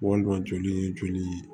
Kɔnɔntoli joli ye joli ye